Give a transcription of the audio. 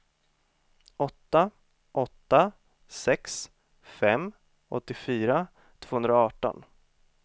åtta åtta sex fem åttiofyra tvåhundraarton